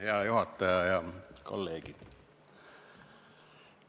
Hea juhataja ja kolleegid!